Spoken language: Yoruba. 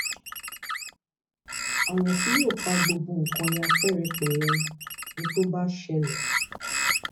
ọrọ tí yóò fa gbogbo nǹkan ya pẹrẹpẹrẹ ni tó bá ṣẹlẹ